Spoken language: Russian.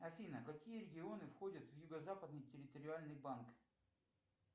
афина какие регионы входят в юго западный территориальный банк